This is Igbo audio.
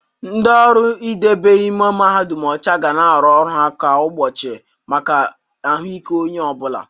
Ndị ọrụ idebe ime mahadum ọcha ga na-arụ ọrụ ha kwa ụbọchị maka ahụike onye ọ bụla.